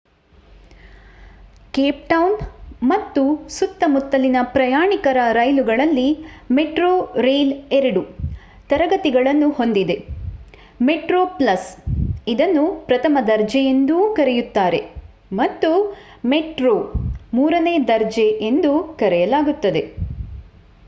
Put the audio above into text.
Cape Town ಮತ್ತು ಸುತ್ತಮುತ್ತಲಿನ ಪ್ರಯಾಣಿಕರ ರೈಲುಗಳಲ್ಲಿ metrorail 2 ತರಗತಿಗಳನ್ನು ಹೊಂದಿದೆ: metroplus ಇದನ್ನು ಪ್ರಥಮ ದರ್ಜೆ ಎಂದೂ ಕರೆಯುತ್ತಾರೆ ಮತ್ತು ಮೆಟ್ರೋ ಮೂರನೇ ದರ್ಜೆ ಎಂದು ಕರೆಯಲಾಗುತ್ತದೆ